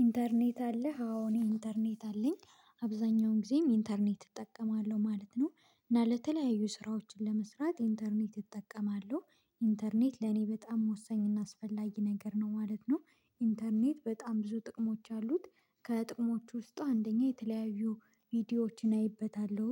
ኢንተርኔት አለ አዎ እኔ ኢንተርኔት አለኝ አብዛኛውን ጊዜም ኢንተርኔት እጠቀማለሁ ማለት ነው። እና ለተለያዩ ስራዎችን ለመስራት ኢንተርኔት እጠቀማሉ። ኢንተርኔት ለኔ በጣም ወሳኝ እና አስፈላጊ ነገር ነው ማለት ነው። ኢንተርኔት በጣም ብዙ ጥቅሞች አሉት። ከጥቅሞቹ ውስጥ አንደኛ የተለያዩ ቪዲዮዎችን አይበታለሁ